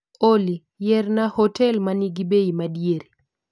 Olly, yierna hotel manigi bei madiere